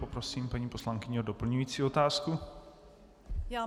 Poprosím paní poslankyni o doplňující otázku.